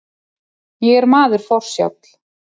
Ég er maður forsjáll.